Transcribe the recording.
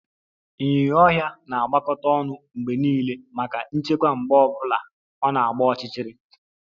Ịnyinya ọhịa na-agbakọta ọnụ mgbe niile maka nchekwa mgbe ọ bụla ọ na-agba ọchịchịrị